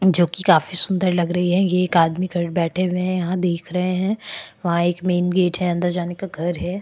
जोकि काफी सुन्दर लग रही है ये एक आदमी ख बैठे हुए है यहाँ देख रहे है वहाँ एक मेन गेट है अंदर जाने का घर हैं।